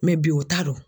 bi o t'a dɔn